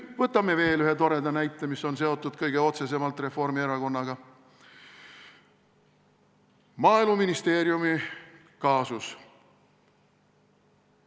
Võtame veel ühe toreda näite, mis on seotud kõige otsesemalt Reformierakonnaga: Maaeluministeeriumi kaasus.